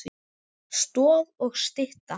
Stoð og stytta.